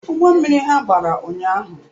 Ụgbọ mmiri ha gbara ụnyahụ